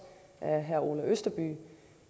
af herre orla østerby